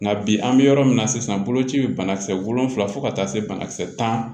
Nka bi an bɛ yɔrɔ min na sisan boloci bɛ banakisɛ wolonfila fo ka taa se banakisɛ tan